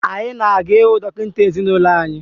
Anyị na-aga ịhụ dọkịta ezinụlọ anyị